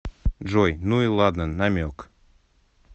джой ну и ладно намек